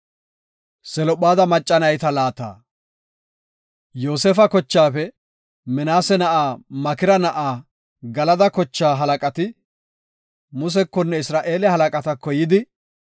Yoosefa kochaafe, Minaase na7aa Makira na7aa Galada kochaa halaqati Musekonne Isra7eele halaqatako yidi